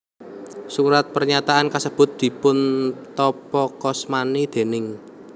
Surat pernyataan kasebut dipuntapakasmani déning